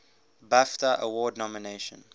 bafta award nomination